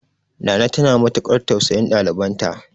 Nana tana matukar tausayin ɗalibanta.